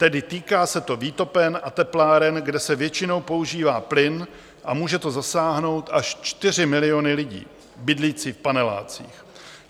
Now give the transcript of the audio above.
Tedy týká se to výtopen a tepláren, kde se většinou používá plyn, a může to zasáhnout až 4 miliony lidí bydlících v panelácích.